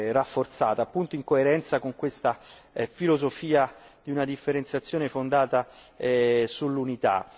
rafforzata, appunto in coerenza con questa filosofia di una differenziazione fondata sull'unità.